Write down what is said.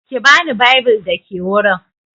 Ki bani bible da ke wurin.